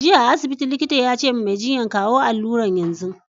Jiya a asibiti, likita ya ce wa Mai jinyan "kawo alurar yanzu!